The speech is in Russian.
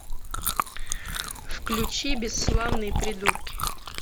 включи бесславные придурки